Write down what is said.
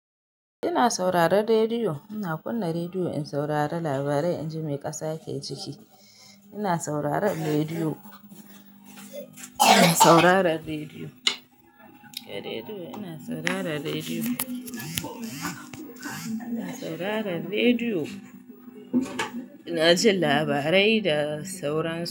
Ina sauraron rediyo. Ina kunna rediyo in saurari labarai inji mai ƙasa ke ciki. Ina sauraron rediyo. Ina saurarar rediyo, in rediyo ina saurarar rediyo. Ina saurarar rediyo. Ina jin labarai da sauransu.